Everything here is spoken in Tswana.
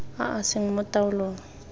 a a seng mo taolong